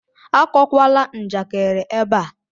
Akọwala m njakịrị ebe a!